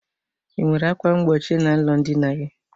I nwere ákwà mgbochi n'ụlọ ndina gị?